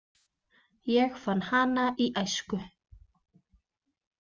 Ég fann hana í æsku.